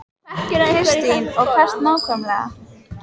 Kristín: Og hvert nákvæmlega?